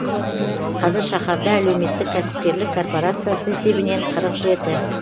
қазір шаһарда әлеуметтік кәсіпкерлік корпорациясы есебінен қырық жеті